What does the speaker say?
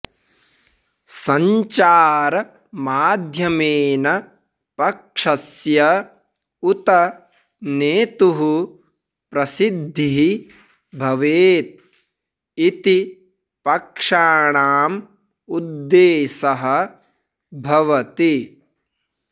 सञ्चारमाध्यमेन पक्षस्य उत नेतुः प्रसिद्धिः भवेत् इति पक्षाणाम् उद्देशः भवति